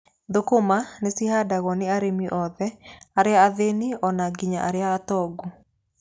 Thũkũma ci handagwo ni arĩmi othe, arĩa athĩĩni o na nginya arĩa atongu.